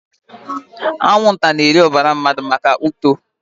Anwụnta na-eri ọbara mmadụ maka uto